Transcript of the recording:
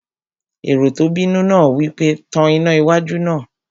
Èrò tó bínú náà wí pé, "Tan iná wájú náà!"